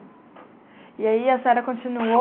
E aí a senhora continuou?